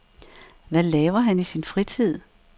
Hvad laver han i sin fritid?